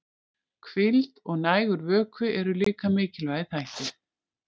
Hvíld og nægur vökvi eru líka mikilvægir þættir.